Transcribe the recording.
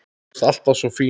Þú varst alltaf svo fín.